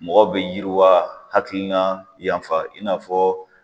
Mɔgɔw bɛ yiriwa hakilina yanfa i n'a fɔ